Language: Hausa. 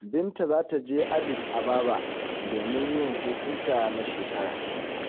Binta za ta je Adis Ababa domin yin hutunta na shekara.